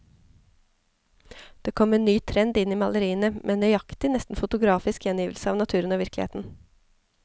Det kom en ny trend inn i maleriene, med nøyaktig, nesten fotografisk gjengivelse av naturen og virkeligheten.